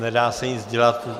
Nedá se nic dělat.